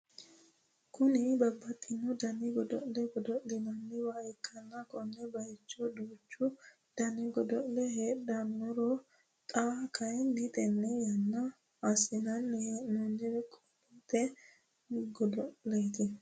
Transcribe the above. Kuni babbaxitino dani godo'le godo'linanniwa ikkanna kone bayiicho duuchu dani godo'le heedhurono xa kayiini tenne yannanni assinanni he'noonniti qolleete godo'leeti